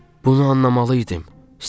"Bunu anlamalı idim,"